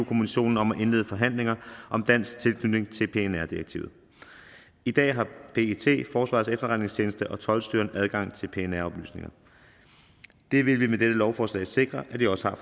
kommissionen om at indlede forhandlinger om dansk tilknytning til pnr direktivet i dag har pet forsvarets efterretningstjeneste og toldstyrelsen adgang til pnr oplysninger det vil vi med dette lovforslag sikre de også har